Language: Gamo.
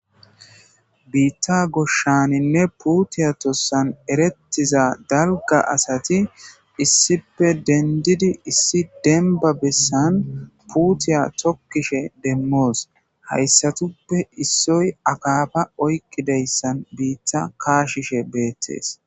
Biththa goshaninne puuthiya tossan erethiza dalga assathi issipe dendidi issi demba bessan puuthiya thokidhe demos haysathupe issoy akafa oyqidayasara biththa kashishe dethes.